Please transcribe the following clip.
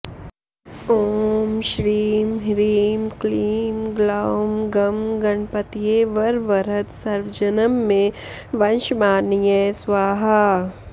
ॐ श्रीं ह्रीं क्लीं ग्लौं गं गणपतये वरवरद सर्वजनं मे वशमानय स्वाहा